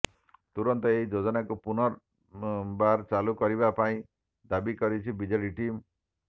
ତୁରନ୍ତ ଏହି ଯୋଜନାକୁ ପୁନର୍ବାର ଚାଲୁ କରିବା ପାଇଁ ଦାବି କରିଛି ବିଜେଡି ଟିମ୍